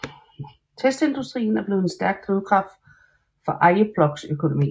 Testindustrien er blevet en stærk drivkraft for Arjeplogs økonomi